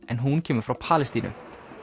en hún kemur frá Palestínu